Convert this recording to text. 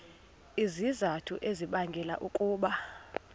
izizathu ezibangela ukuba